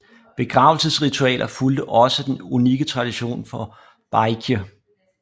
Begravelsesritualer fulgte også den unikke tradition for Baekje